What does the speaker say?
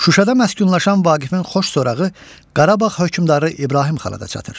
Şuşada məskunlaşan Vaqifin xoş sorağı Qarabağ hökmdarı İbrahim Xana da çatır.